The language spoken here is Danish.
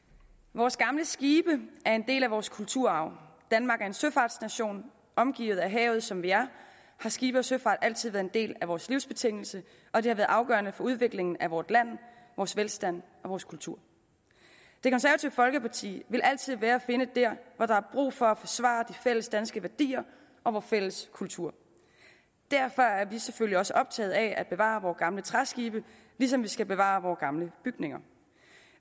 vores gamle skibe er en del af vores kulturarv danmark er en søfartsnation omgivet af havet som vi er har skibe og søfart altid været en del af vores livsbetingelse og det har været afgørende for udviklingen af vort land vores velstand og vores kultur det konservative folkeparti vil altid være at finde der hvor der er brug for at forsvare de fælles danske værdier og vor fælles kultur derfor er vi selvfølgelig også optaget af at bevare vore gamle træskibe ligesom vi skal bevare vore gamle bygninger